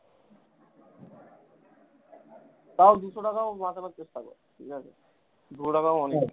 তাও দুশো টাকা ও বাঁচানোর চেষ্টা কর ঠিকাছে, দুশো টাকা ও অনেক।